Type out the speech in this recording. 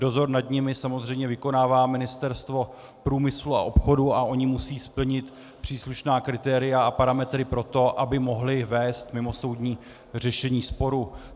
Dozor nad nimi samozřejmě vykonává Ministerstvo průmyslu a obchodu, a oni musí splnit příslušná kritéria a parametry pro to, aby mohli vést mimosoudní řešení sporu.